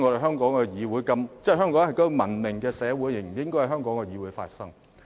香港是文明的社會，這些辯論根本不應該在香港的議會發生。